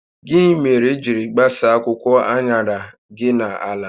Gịnị mere i jiri gbasaa akwụkwọ aṅara gi na ala?